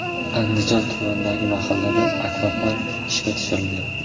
Andijon tumanidagi mahallada akvapark ishga tushirildi.